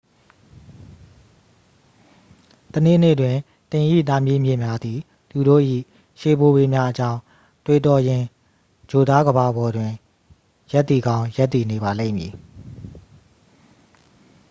တစ်နေ့နေ့တွင် သင်၏သားမြေးမြစ်များသည် သူတို့၏ ရှေးဘိုးဘေးများအကြောင်း တွေးတောရင်း ဂြိုလ်သားကမ္ဘာပေါ်တွင် ရပ်တည်ကောင်း ရပ်တည်နေပါလိမ့်မည်